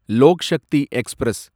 Lok Shakti express